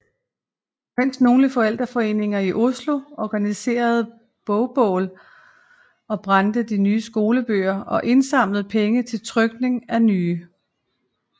Mens nogle forældreforeninger i Oslo organiserede bogbål og brændte de nye skolebøger og indsamlede penge til trykning af nye